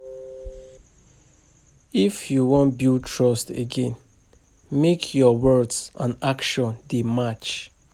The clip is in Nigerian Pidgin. If you wan build trust again, make your words and actions dey match.